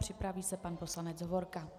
Připraví se pan poslanec Hovorka.